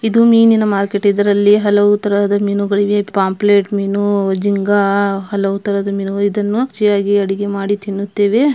ಇದು ಮೀನಿನ ಮಾರುಕಟ್ಟೆ ಇದರಲ್ಲಿ ಹಲವು ರೀತಿಯ ಮೀನುಗಳಿವೆ ಪಾಂಪ್ಲೆಟ್ ಮೀನು ಜಿಂಗಾ ಹಲವು ತರದ ಮೀನುಗಳಿವೆ ಇದನ್ನು ರುಚಿಯಾಗಿ ಅಡುಗೆ ಮಾಡಿ ತಿನ್ನುತ್ತೇವೆ.